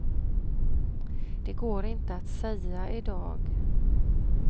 Det går inte att säga i dag.